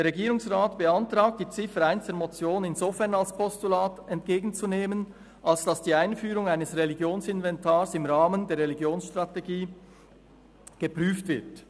Der Regierungsrat beantragt, die Ziffer 1 der Motion insofern als Postulat entgegenzunehmen, als dass die Einführung eines Religionsinventars im Rahmen der Religionsstrategie […] geprüft wird.